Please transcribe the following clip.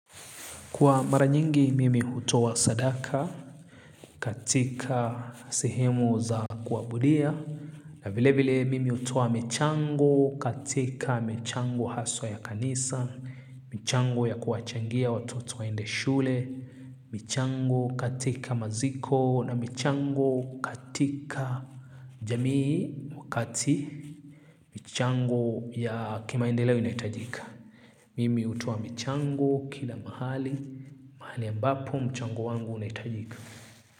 Kwa mara nyingi, mimi hutoa sadaka katika sehemu za kuabudia. Na vile vile, mimi hutoa michango katika michango haswa ya kanisa, michango ya kuchangia watoto waende shule, michango katika maziko, na michango katika jamii wakati, michango ya kimaendeleo inahitajika. Mimi hutoa michango kila mahali mahali ambapo mchango wangu unahitajika.